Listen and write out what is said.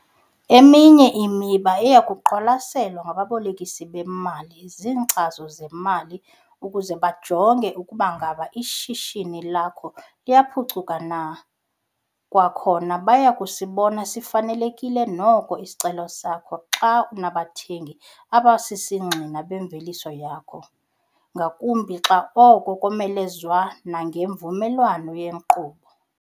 Eminye imiba eya kuqwalaselwa ngababolekisi bemali ziinkcazo zemali ukuze bajonge ukuba ingaba ishishini lakho liyaphucuka na. Kwakhona, baya kusibona sifanelekile noko isicelo sakho xa unabathengti abasisigxina bemveliso yakho, ngakumbi xa oko komelezwa nangemvumelwano yenkqubo.